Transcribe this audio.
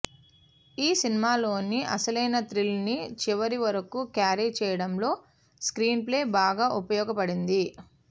ఈ సినిమాలోని అసలైన థ్రిల్ను చివరివరకూ క్యారీ చేయడంలో స్క్రీన్ప్లే బాగా ఉపయోగపడింది